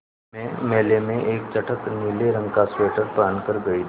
मैं मेले में एक चटख नीले रंग का स्वेटर पहन कर गयी थी